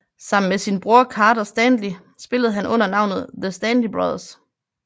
Sammen med sin bror Carter Stanley spillede han under navnet The Stanley Brothers